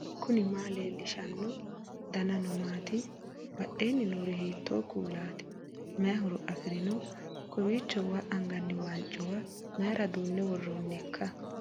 knuni maa leellishanno ? danano maati ? badheenni noori hiitto kuulaati ? mayi horo afirino ? koeiicho waa anganni waanccuwa mayra duunne worronnikka